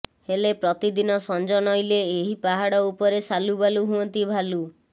ହେଲେ ପ୍ରତିଦିନ ସଞ୍ଜ ନଇଁଲେ ଏହି ପାହାଡ଼ ଉପରେ ସାଲୁବାଲୁ ହୁଅନ୍ତି ଭାଲୁ